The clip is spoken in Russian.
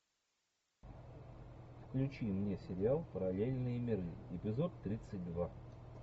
включи мне сериал параллельные миры эпизод тридцать два